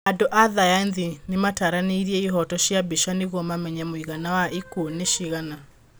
Andũ a thayathi nĩmataranĩirie ihoto cia mbica nĩguo mamenye mũigana wa ikũo ni cigana